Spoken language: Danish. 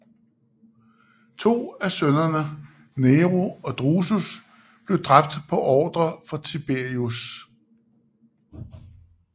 To af sønnerne Nero og Drusus blev dræbt på ordre fra Tiberius